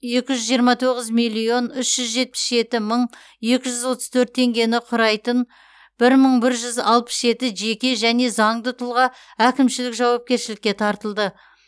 екі жүз жиырма тоғыз миллион үш жүз жетпіс жеті мың екі жүз отыз төрт теңгені құрайтын бір мың бір жүз алпыс жеті жеке және заңды тұлға әкімшілік жауапкершілікке тартылды